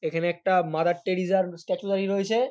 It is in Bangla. এখানে একটা মাদার টেরিজার স্ট্যাচু দাঁড়িয়ে রয়েছে।